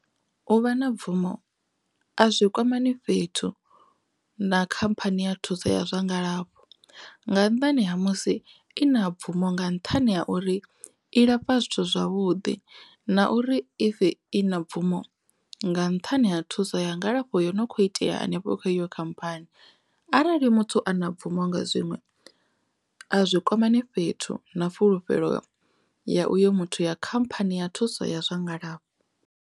U vha na bvumo a zwi kwama ni fhethu na khamphani ya thuso ya zwa ngalafho nga nnḓani ha musi i na bvumo nga nṱhani ha uri i lafha zwithu zwavhuḓi na uri if i na bvumo nga nṱhani ha thuso ya ngalafho yo no kho itea hanefho iyo khamphani arali muthu ana bvumo nga zwiṅwe a zwi kwamane fhethu na fulufhelo ya uyo muthu ya khamphani ya thuso ya zwa ngalafho.